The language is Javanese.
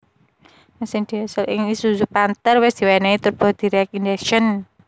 Mesin diesel ing isuzu panther wis diwénéhi turbo direct injection